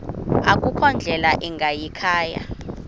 akukho ndlela ingayikhaya